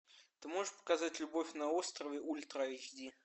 ты можешь показать любовь на острове ультра айч ди